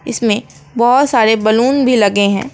इसमें बहुत सारे बैलून भी लगे हैं।